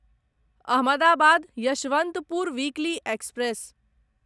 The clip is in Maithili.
Ahmedabad Yesvantpur weekly express